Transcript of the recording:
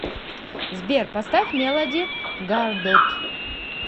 сбер поставь мелоди гардот